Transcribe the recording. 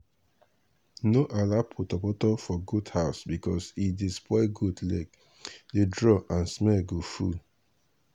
no allow portoporto for goat house because e dey spoil goat lege dey draw and smell go full